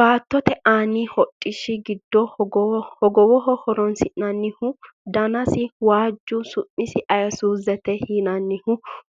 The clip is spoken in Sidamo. baattote aani hodhishshi giddo hogowoho horonsi'nannihu danasi waajju su'masi ayesuuzete yinannihu